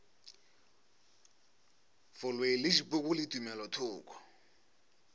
boloi le dipoko le tumelothoko